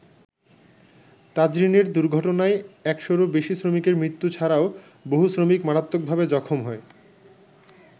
তাজরীনের দুর্ঘটনায় একশরও বেশি শ্রমিকের মৃত্যু ছাড়াও, বহু শ্রমিক মারাত্মকভাবে জখম হয়।